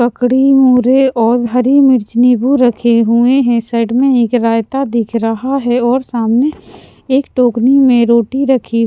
ककड़ी मूरे और हरी मिर्च नींबू रखे हुए हैं साइड में एक रायता दिख रहा है और सामने एक टोकनी में रोटी रखी.